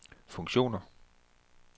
funktioner